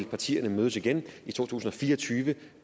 partierne vil mødes igen i to tusind og fire og tyve og